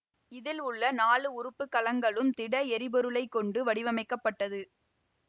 இதில் உள்ள நாலு உறுப்பு கலங்களும் திட எரிபொருளைக் கொண்டு வடிவமைக்கப்பட்டது